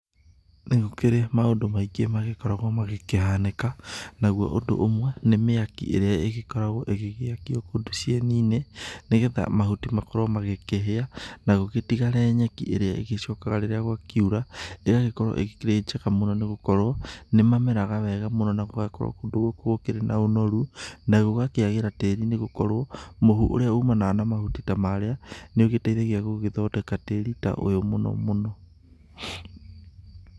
Nĩ gũkĩrĩ maũndũ maingĩ magĩkoragwo magĩkĩhanĩka, naguo ũndũ ũmwe nĩ mĩaki ĩrĩa ĩgĩkoragwo ĩgĩgĩakio kũndũ cieni-inĩ, nĩgetha mahuti makorwo magĩkĩhĩa, na gũgĩtigare nyeki ĩrĩa ĩgĩcokaga rĩrĩa gwakiura, ĩgagĩkorwo ĩgĩkĩrĩ njega mũno nĩ gũkorwo nĩ mameraga wega mũno na gũgakorwo kũndũ gũkũ gũkĩrĩ na ũnoru na gũgakĩagĩra tĩri-inĩ nĩ gũkorwo, mũhu ũrĩa umanaga na mahuti ta marĩa, nĩ ũgĩteithagia gũgĩthondeka tĩri ta ũyũ mũno mũno.